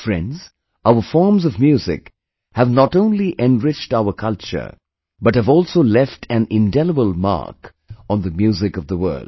Friends, Our forms of music have not only enriched our culture, but have also left an indelible mark on the music of the world